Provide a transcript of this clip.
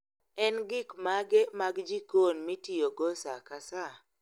En gik mage mag jikon mitiyogo saa ka saa?